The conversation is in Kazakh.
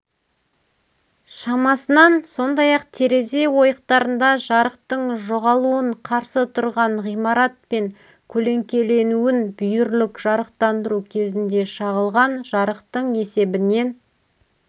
шамасынан сондай-ақ терезе ойықтарында жарықтың жоғалуын қарсы тұрған ғимаратпен көлеңкеленуін бүйірлік жарықтандыру кезінде шағылған жарықтың есебінен